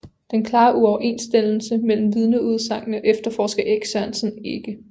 Den klare uoverensstemmelse mellem vidneudsagnene efterforsker Erik Sørensen ikke